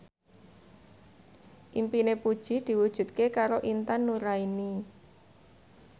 impine Puji diwujudke karo Intan Nuraini